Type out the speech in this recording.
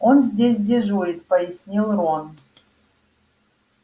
он здесь дежурит пояснил рон